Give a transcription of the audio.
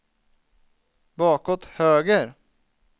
bakåt höger